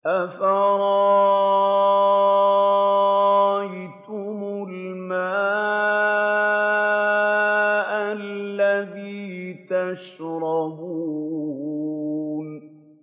أَفَرَأَيْتُمُ الْمَاءَ الَّذِي تَشْرَبُونَ